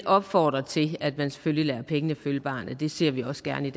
opfordre til at man selvfølgelig lader pengene følge barnet det ser vi også gerne